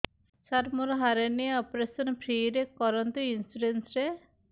ସାର ମୋର hernia operation free ରେ କରନ୍ତୁ ଇନ୍ସୁରେନ୍ସ ରେ